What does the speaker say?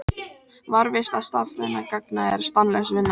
Varðveisla stafrænna gagna er stanslaus vinna.